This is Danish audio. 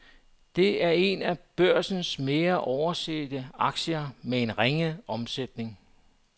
Det er en af børsens mere oversete aktier med en ringe omsætning.